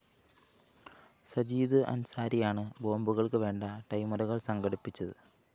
സജീദ് അന്‍സാരിയാണ് ബോംബുകള്‍ക്കു വേണ്ട ടൈമറുകള്‍ സംഘടിപ്പിച്ചത്